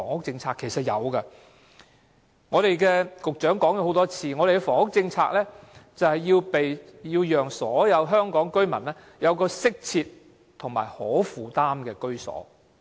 正如局長已多次表示，我們的房屋政策是要讓所有香港居民有適切和可負擔的居所。